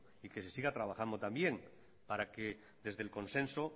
y que se siga trabajando también para que desde el consenso